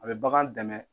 A bɛ bagan dɛmɛ